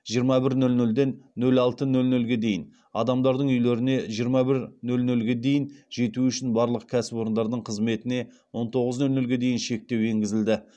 жиырма бір нөл нөлден нөл алты нөл нөлге дейін адамдардың үйлеріне жиырма бір нөл нөлге дейін жетуі үшін барлық кәсіпорындардың қызметіне он тоғыз нөл нөлге дейін шектеу енгізілді